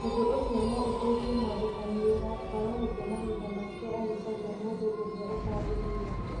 Ũndũ ũcio no ũteithie mwandĩkani wĩra kwaga gũte mahinda make agĩcaria mũndũ ũrĩa ũtagĩrĩire.